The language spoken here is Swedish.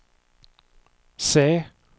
C